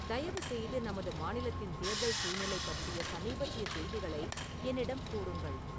தயவு செய்து நமது மாநிலத்தின் தேர்தல் சூழ்நிலை பற்றிய சமீபத்திய செய்திகளை என்னிடம் கூறுங்கள்